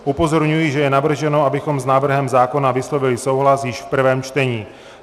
Upozorňuji, že je navrženo, abychom s návrhem zákona vyslovili souhlas již v prvém čtení.